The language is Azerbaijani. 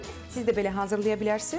Siz də belə hazırlaya bilərsiz,